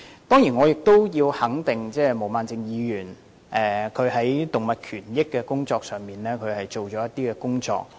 當然，我要肯定毛孟靜議員在動物權益方面做了一些工作。